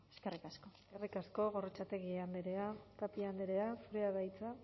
eskerrik asko eskerrik asko gorrotxategi andrea tapia andrea zurea da hitza